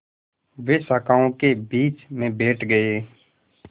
वे शाखाओं के बीच में बैठ गए